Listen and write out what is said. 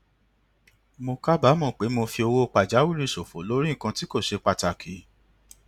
mo kábàámò pé mo fi owó pàjáwìrì ṣòfò lórí nǹkan tí kò ṣe pàtàkì